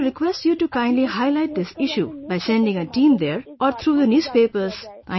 I want to request you to kindly highlight this issue by sending a team there, or through the newspapers